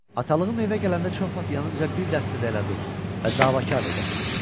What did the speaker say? Atalığım evə gələndə çox vaxt yanınca bir dəstə dələduz və davakar da gətirirdi.